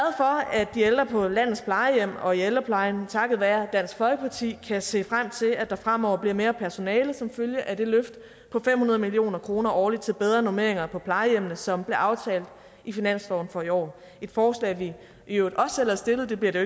at de ældre på landets plejehjem og i ældreplejen takket være dansk folkeparti kan se frem til at der fremover bliver mere personale som følge af det løft på fem hundrede million kroner årligt til bedre normeringer på plejehjemmene som blev aftalt i finansloven for i år et forslag vi i øvrigt også selv har stillet og det bliver det